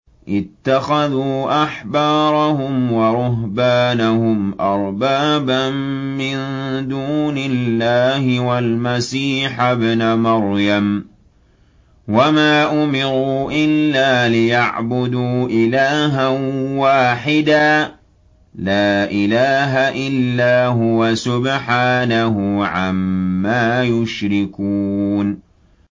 اتَّخَذُوا أَحْبَارَهُمْ وَرُهْبَانَهُمْ أَرْبَابًا مِّن دُونِ اللَّهِ وَالْمَسِيحَ ابْنَ مَرْيَمَ وَمَا أُمِرُوا إِلَّا لِيَعْبُدُوا إِلَٰهًا وَاحِدًا ۖ لَّا إِلَٰهَ إِلَّا هُوَ ۚ سُبْحَانَهُ عَمَّا يُشْرِكُونَ